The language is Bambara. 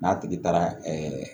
N'a tigi taara